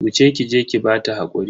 Wuce ki je ki bata hakuri.